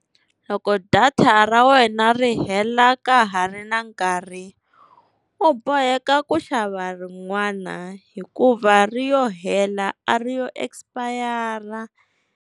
Loko data ra wena ri hela ka ha ri na nkarhi, u boheka ku xava rin'wana hikuva ri yo hela a ri yo expire.